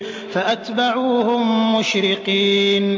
فَأَتْبَعُوهُم مُّشْرِقِينَ